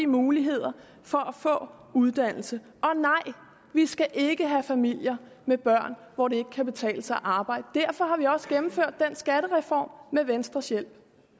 muligheder for at få uddannelse og nej vi skal ikke have familier med børn hvor det ikke kan betale sig at arbejde derfor har vi også gennemført den skattereform med venstres hjælp